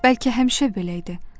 Bəlkə həmişə belə idi.